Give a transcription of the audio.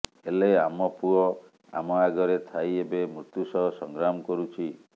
ହେଲେ ଆମ ପୁଅ ଆମ ଆଗରେ ଥାଇ ଏବେ ମୃତ୍ୟୁ ସହ ସଂଗ୍ରାମ କରୁଛି